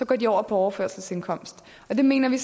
går over på overførselsindkomst det mener vi